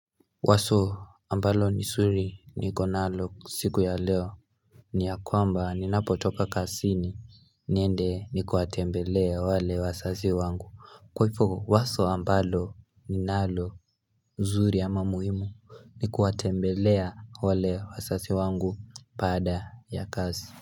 Wazo ambalo ni suri nikonalo siku ya leo ni ya kwamba ni napotopa kazini niende ni kuwatembelea wale wazazi wangu Kwaifo waso ambalo ni nalo nzuri ama muhimu ni kuatembelea wale wasazi wangu baada ya kazi.